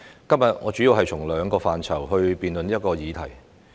今天，我主要從兩個範疇辯論這項議題。